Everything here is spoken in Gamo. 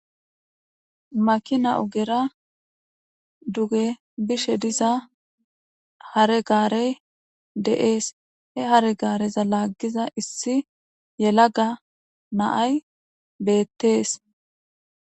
Makina ogera duge bishe diza hare gaarey deees he haregaareza laaggiza issi yelaga naay beettees.